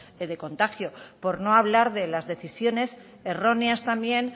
de contagio por no hablar de las decisiones erróneas también